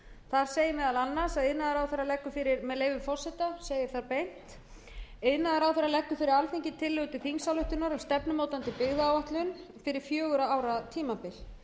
þar segir meðal annars með leyfi forseta iðnaðarráðherra leggur fyrir alþingi tillögu til þingsályktunar um stefnumótandi byggðaáætlun fyrir fjögurra ára tímabil